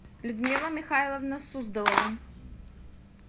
людмила михайловна суздолова